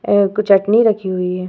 एह कुछ चटनी रखी हुई है।